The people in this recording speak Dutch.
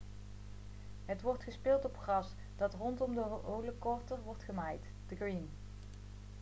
het wordt gespeeld op gras dat rondom de hole korter wordt gemaaid de green